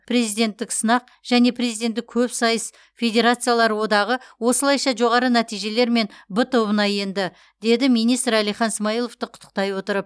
президенттік сынақ және президенттік көпсайыс федерациялар одағы осылайша жоғары нәтижелермен б тобына енді деді министр әлихан смайыловты құттықтай отырып